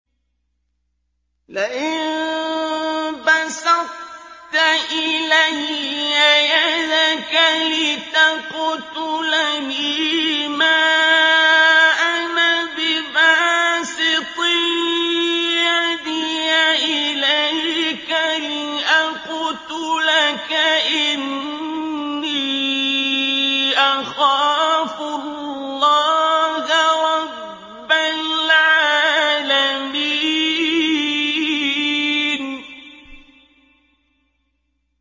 لَئِن بَسَطتَ إِلَيَّ يَدَكَ لِتَقْتُلَنِي مَا أَنَا بِبَاسِطٍ يَدِيَ إِلَيْكَ لِأَقْتُلَكَ ۖ إِنِّي أَخَافُ اللَّهَ رَبَّ الْعَالَمِينَ